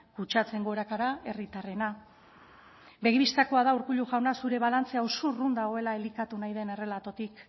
kutsatzeen gorakada herritarrena begi bistakoa da urkullu jauna zure balantzea oso urrun dago elikatu nahi den errelatotik